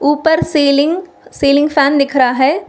ऊपर ceiling ceiling fan दिख रहा है।